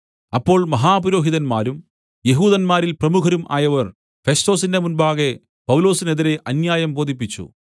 അപ്പോൾ മഹാപുരോഹിതന്മാരും യെഹൂദന്മാരിൽ പ്രമുഖരും ആയവർ ഫെസ്തോസിന്റെ മുമ്പാകെ പൗലോസിനെതിരെ അന്യായം ബോധിപ്പിച്ചു